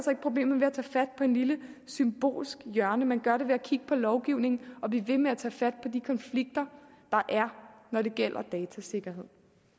problemet ved at tage fat på et lille symbolsk hjørne man gør det ved at kigge på lovgivningen og ved at ved med at tage fat på de konflikter der er når det gælder datasikkerhed